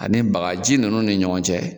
Ani bagaji ninnu ni ɲɔgɔn cɛ